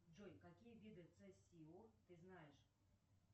джой какие виды ц си о ты знаешь